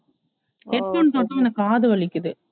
headphone போட்டா எனக்கு காது வலிக்குது